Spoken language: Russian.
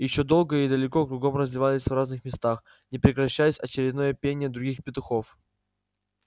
и ещё долго и далеко кругом разливалось в разных местах не прекращаясь очередное пение других петухов